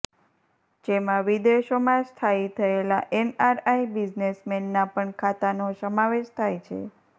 જેમાં વિદેશોમાં સ્થાયી થયેલા એનઆરઆઈ બિઝનેસમેનના પણ ખાતાનો સમાવેશ થાય છે